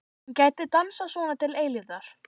Hann gæti dansað svona til eilífðar.